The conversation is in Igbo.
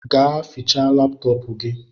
Gaa fịchaa laptọọpu gi!